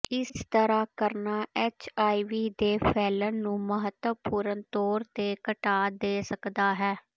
ਇਸ ਤਰ੍ਹਾਂ ਕਰਨਾ ਐੱਚਆਈਵੀ ਦੇ ਫੈਲਣ ਨੂੰ ਮਹੱਤਵਪੂਰਣ ਤੌਰ ਤੇ ਘਟਾ ਦੇ ਸਕਦਾ ਹੈ